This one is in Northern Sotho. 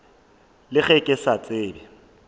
le ge ke sa tsebe